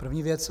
První věc.